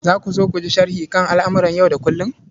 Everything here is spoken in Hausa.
Za ku so ku ji sharhi kan al'amuran yau da kullum?